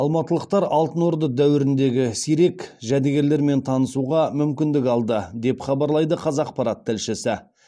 алматылықтар алтын орда дәуіріндегі сирек жәдігерлермен танысуға мүмкіндік алды деп хабарлайды қазақпарат тілшісі